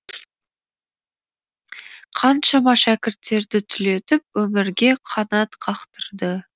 қаншама шәкірттерді түлетіп өмірге қанат қақтырды